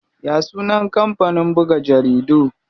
Ya sunan kampanin buga jaridu?